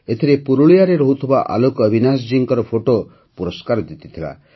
ଏଥିରେ ପୁରୁଲିଆରେ ରହୁଥିବା ଆଲୋକ ଅବିନାଶ ଜୀଙ୍କ ଫଟୋ ପୁରସ୍କାର ଜିତିଥିଲା